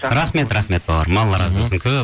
рахмет рахмет бауырым алла разы болсын